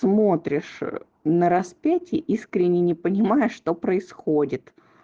смотришь на распятии искренне не понимая что происходит